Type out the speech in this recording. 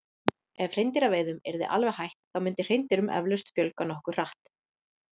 Ef hreindýraveiðum yrði alveg hætt þá myndi hreindýrum eflaust fjölga nokkuð hratt.